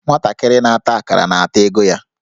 Nwantakịrị na-ata akará, na-ata ego ya